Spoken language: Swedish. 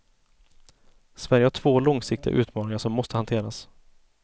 Sverige har två långsiktiga utmaningar som måste hanteras.